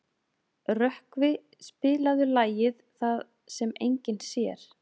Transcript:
Rökkvi, spilaðu lagið „Það sem enginn sér“.